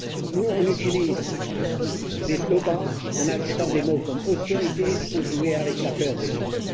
Nous, nous utilisons des slogans en agitant des mots comme austérité pour jouer avec la peur des gens.